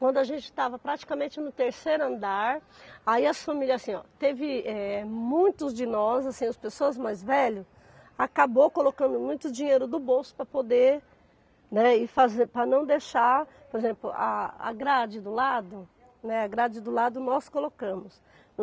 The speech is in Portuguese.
Quando a gente estava praticamente no terceiro andar, aí as famílias assim, ó, teve eh muitos de nós, assim as pessoas mais velhas, acabaram colocando muito dinheiro do bolso para poder, né, ir faze, para não deixar, por exemplo, a a grade do lado, né, a grade do lado nós colocamos.